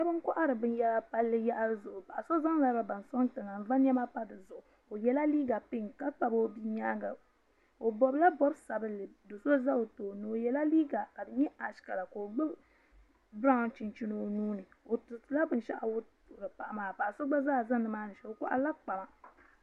Sheba n kohari binyera palli yaɣali zuɣu paɣa so zaŋla loba n soŋ tiŋa n va niɛma pa dizuɣu o yela liiga pinki ka kpabi o bia nyaanga o bobila bob'sabinli do'so za o tooni o yela liiga ka di nyɛ ash kala ka o gbibi biraw chinchini o nuuni o tiritila binshaɣu wuhiri paɣa maa kpaɣa so gba zaa za nimaani shee o koharila kpama.